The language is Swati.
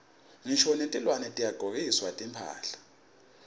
ngisho netilwane tiyagcokiswa timphahla